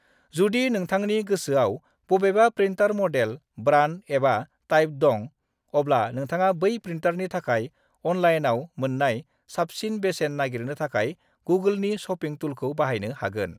जुदि नोंथांनि गोसोयाव बबेबा प्रिन्टार मडेल, ब्रान्ड एबा टाइप दं, अब्ला नोंथाङा बै प्रिन्टारनि थाखाय अनलाइनआव मोन्नाय साबसिन बेसेन नागिरनो थाखाय गुगोलनि शपिं टुलखौ बाहायनो हागोन।